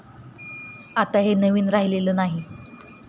हे आता नवीन राहिलेले नाही.